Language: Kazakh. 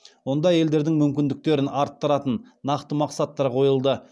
онда әйелдердің мүмкіндіктерін арттыратын нақты мақсаттар қойылды